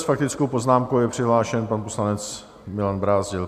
S faktickou poznámkou je přihlášen pan poslanec Milan Brázdil.